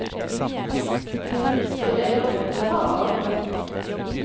Så det er nok å ta av.